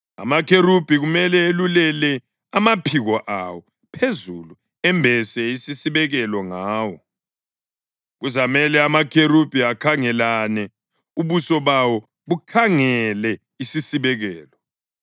Amakherubhi kumele elulele amaphiko awo phezulu embese isisibekelo ngawo. Kuzamele amakherubhi akhangelane, ubuso bawo bukhangele isisibekelo.